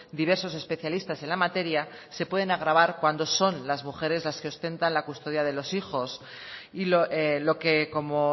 diversos especialistas en la materia se pueden agravar cuando son las mujeres las que ostentan la custodia de los hijos y lo que como